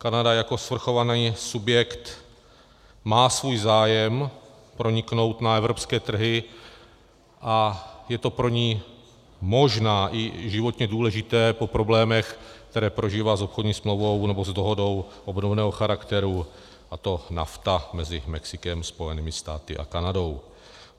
Kanada jako svrchovaný subjekt má svůj zájem proniknout na evropské trhy a je to pro ni možná i životně důležité po problémech, které prožívá s obchodní smlouvou, nebo s dohodou obnoveného charakteru, a to NAFTA mezi Mexikem, Spojenými státy a Kanadou.